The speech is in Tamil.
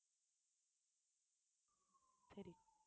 சரி